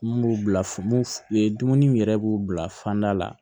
Mun b'u bila mun ye dumuni yɛrɛ b'u bila fanda la